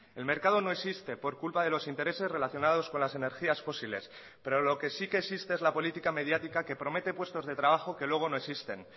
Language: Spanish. el mercado no existe por culpa de los intereses relacionados con las energías fósiles pero lo que sí que existe es la política mediática que promete puestos de trabajo que luego no existen